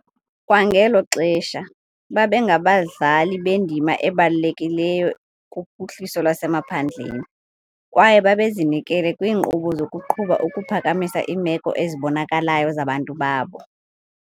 Kwangelo xesha, babengabadlali bendima ebalulekileyo kuphuhliso lwasemaphandleni, kwaye babezinikele kwiinkqubo zokuqhuba ukuphakamisa iimeko ezibonakalayo zabantu babo.